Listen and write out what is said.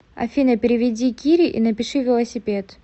афина переведи кире и напиши велосипед